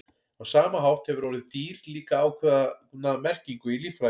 Á sama hátt hefur orðið dýr líka ákveðna merkingu í líffræði.